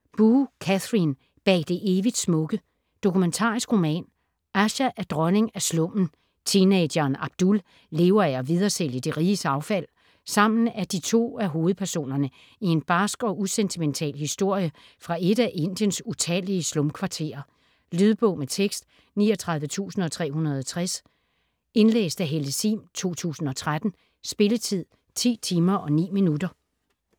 Boo, Katherine: Bag det evigt smukke Dokumentarisk roman. Asha er dronning af slummen, teenageren Abdul lever af at videresælge de riges affald. Sammen er de to af hovedpersonerne i en barsk og usentimental historie fra et af Indiens utallige slumkvarterer. Lydbog med tekst 39360 Indlæst af Helle Sihm, 2013. Spilletid: 10 timer, 9 minutter.